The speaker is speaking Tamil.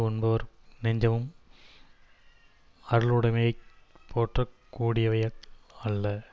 உண்பவர் நெஞ்சமும் அருளுடைமையைப் போற்றக் கூடியவைகள் அல்ல